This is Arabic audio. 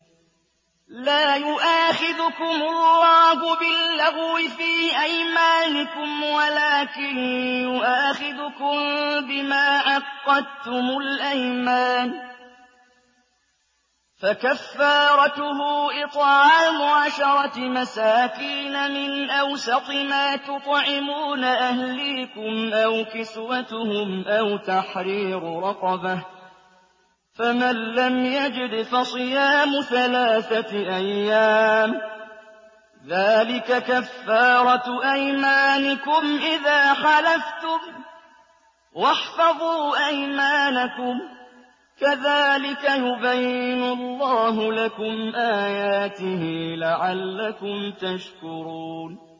لَا يُؤَاخِذُكُمُ اللَّهُ بِاللَّغْوِ فِي أَيْمَانِكُمْ وَلَٰكِن يُؤَاخِذُكُم بِمَا عَقَّدتُّمُ الْأَيْمَانَ ۖ فَكَفَّارَتُهُ إِطْعَامُ عَشَرَةِ مَسَاكِينَ مِنْ أَوْسَطِ مَا تُطْعِمُونَ أَهْلِيكُمْ أَوْ كِسْوَتُهُمْ أَوْ تَحْرِيرُ رَقَبَةٍ ۖ فَمَن لَّمْ يَجِدْ فَصِيَامُ ثَلَاثَةِ أَيَّامٍ ۚ ذَٰلِكَ كَفَّارَةُ أَيْمَانِكُمْ إِذَا حَلَفْتُمْ ۚ وَاحْفَظُوا أَيْمَانَكُمْ ۚ كَذَٰلِكَ يُبَيِّنُ اللَّهُ لَكُمْ آيَاتِهِ لَعَلَّكُمْ تَشْكُرُونَ